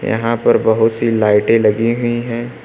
यहां पर बहुत सी लाइटे लगी हुई है।